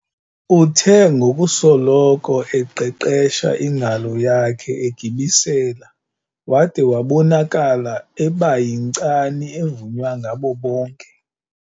Uthe ngokusoloko eqeqesha ingalo yakhe egibisela wada wabonakala eba yinkcani evunywa ngabo bonke.